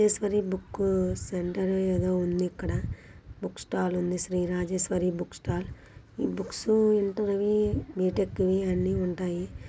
Rajeshwari book centre ఏదో ఉంది ఇక్కడ. బుక్ స్టాల్ ఉంది. Shri Rajeshwari book stall . Books అంటే ఇవి బీ_టెక్ వి అన్నీ ఉంటాయి.